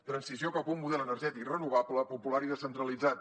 transició cap a un model energètic renovable popular i descentralitzat